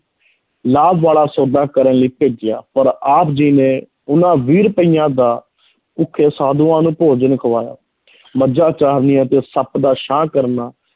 ਲਾਭ ਵਾਲਾ ਸੌਦਾ ਕਰਨ ਲਈ ਭੇਜਿਆ, ਪਰ ਆਪ ਜੀ ਨੇ ਉਹਨਾਂ ਵੀਹ ਰੁਪਇਆਂ ਦਾ ਭੁੱਖੇ ਸਾਧੂਆਂ ਨੂੰ ਭੋਜਨ ਖਵਾਇਆ ਮੱਝਾਂ ਚਾਰਨੀਆਂ ਤੇ ਸੱਪ ਦਾ ਛਾਂ ਕਰਨਾ,